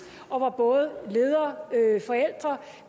og hvor både ledere forældre